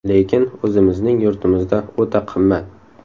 Lekin o‘zimizning yurtimizda o‘ta qimmat.